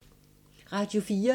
Radio 4